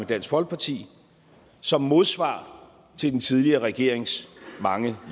dansk folkeparti som modsvar til den tidligere regerings mange